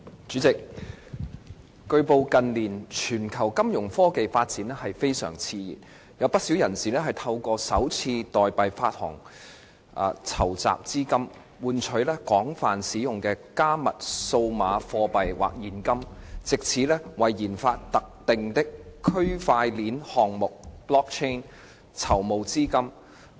主席，據報，近年全球金融科技發展非常熾熱，有不少人士透過首次代幣發行籌集資金，換取廣泛使用的加密數碼貨幣或現金，藉此為研發特定的區塊鏈項目籌募資金。